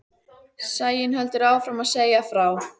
Sæunn heldur áfram að segja frá.